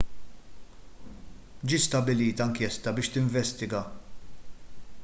ġiet stabbilita inkjesta biex tinvestiga